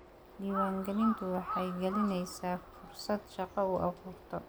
Diiwaangelintu waxay dhalinaysa fursado shaqo u abuurtaa.